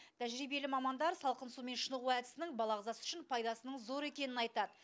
тәжірибелі мамандар салқын сумен шынығу әдісінің бала ағзасы үшін пайдасының зор екенін айтады